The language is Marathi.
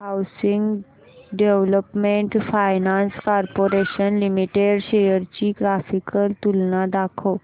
housing development finance corporation limited shares ची ग्राफिकल तुलना दाखव